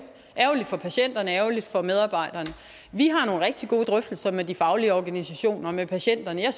for patienterne ærgerligt for medarbejderne vi har nogle rigtig gode drøftelser med de faglige organisationer og med patienterne jeg